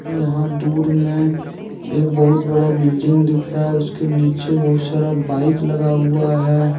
यहां दूर में एक बहुत बड़ा बिल्डिंग दिख रहा है उसके नीचे बहुत सारा बाइक लगा हुआ है।